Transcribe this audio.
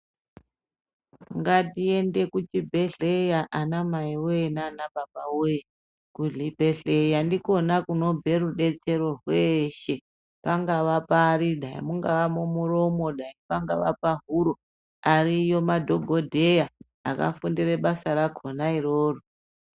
Ngatiyende kuchibhedhleya anamayiwe nanababawe. Kuzvibhedhleya ndiko khona kunobve rudetsero weshe. Pangava parida, mungava mumuromo, pangava pahuro, ariyo madhokodheya akafundire basa rakhona iroro.